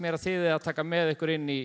að þið eigið að taka með ykkur inn í